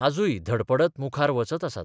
आजूय धडपडत मुखार वचत आसात.